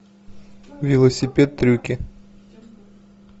велосипед трюки